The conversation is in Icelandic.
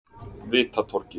Vitatorgi